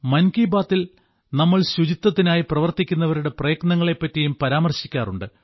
മൻ കി ബാത്തിൽ നമ്മൾ ശുചിത്വത്തിനായി പ്രവർത്തിക്കുന്നവരുടെ പ്രയത്നങ്ങളെപ്പറ്റിയും പരാമർശിക്കാറുണ്ട്